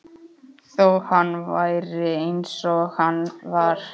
Þó hann væri eins og hann var.